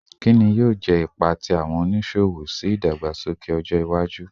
Kini yoo jẹ ipa ti awọn oniṣowo ni idagbasoke ọja iwaju?